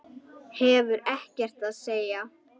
Hefur ekkert að segja.